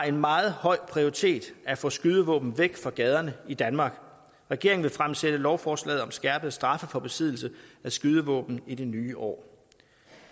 en meget høj prioritet at få skydevåben væk fra gaderne i danmark regeringen vil fremsætte lovforslaget om skærpede straffe for besiddelse af skydevåben i det nye år